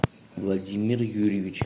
владимир юрьевич